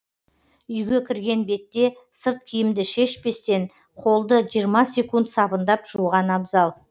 үйге кірген бетте сырт киімді шешпестен қолды жиырма секунд сабындап жуған абзал